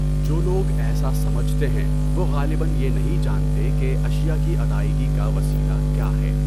جو لوگ ایسا سمجھتے ہیں وہ غالبأ یہ نہیں جانتے کہ اشیاء کی ادائیگی کا وسیلہ کیا ہے؟